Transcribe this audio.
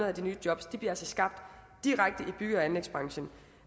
af de nye jobs bliver altså skabt direkte i bygge og anlægsbranchen